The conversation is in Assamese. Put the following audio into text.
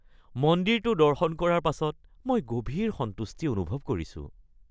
মন্দিৰটো দৰ্শন কৰাৰ পাছত মই গভীৰ সন্তুষ্টি অনুভৱ কৰিছোঁ।